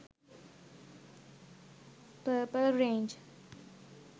purple range